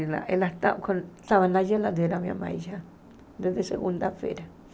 Ela ela estava na geladeira, minha mãe já, desde segunda-feira.